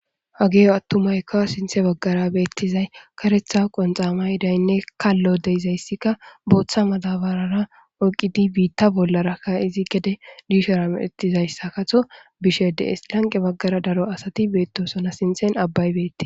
hageyo attumaykka sinthe baggara beettizay karetha qonxamay daynne kallo deizayssikka booththa madabarara oyqidi biitta bollarakka izi gede diishara medettizayssa kato bishe de7es lanqe baggara daro asati beettosona sinthen abbaybettes